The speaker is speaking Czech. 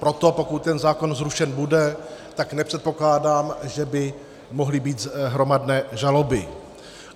Proto pokud ten zákon zrušen bude, tak nepředpokládám, že by mohly být hromadné žaloby.